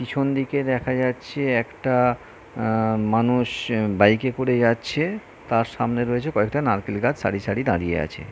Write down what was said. পিছন দিকে দেখা যাচ্ছে একটা আহ মানুষ বাইক এ করে যাচ্ছে। তার সামনে রয়েছে কয়েকটা নারকেল গাছ সারি সারি দাঁড়িয়ে আছে।